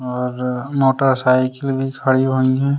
और मोटरसाइकिल भी खड़ी हुई हैं।